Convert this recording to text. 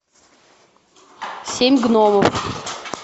семь гномов